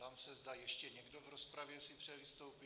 Ptám se, zda ještě někdo v rozpravě si přeje vystoupit?